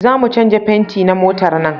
Za mu canja fenti na motar nan